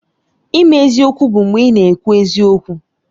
Ime eziokwu bụ mgbe ị na-ekwu eziokwu